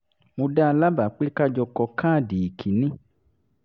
mo dá a lábàá pé ká jọ kọ káàdì ìkíni